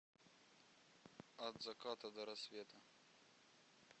от заката до рассвета